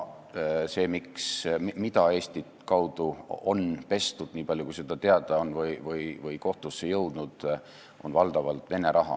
See raha, mida Eesti kaudu on pestud, nii palju kui seda teada on või kui palju on andmeid kohtusse jõudnud, on valdavalt olnud Vene raha.